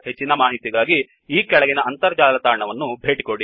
ಹೆಚ್ಚಿನ ಮಾಹಿತಿಗಾಗಿ ಈ ಕೆಳಗಿನ ಅಂತರ್ಜಾಲ ತಾಣವನ್ನು ಭೇಟಿಕೊಡಿ